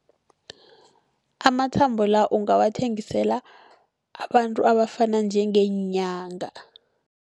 Amathambo la ungawathengisela abantu abafana njengeenyanga.